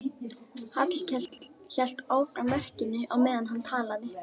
Hallkell hélt áfram verkinu á meðan hann talaði.